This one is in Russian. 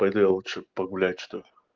пойду я лучше погулять чтоль